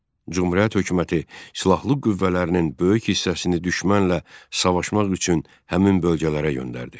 Cümhuriyyət hökuməti silahlı qüvvələrinin böyük hissəsini düşmənlə savaşmaq üçün həmin bölgələrə göndərdi.